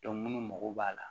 munnu mago b'a la